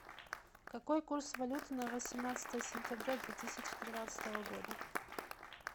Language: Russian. какой курс валюты на восемнадцатое сентября две тысячи тринадцатого года